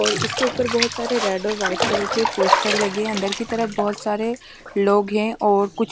और इसके ऊपर बहोत सारे रेड और वाइट कलर के पोस्टर लगे हैं अंदर के तरफ बहोत सारे लोग हैं और कुछ --